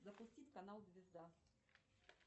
запустить канал звезда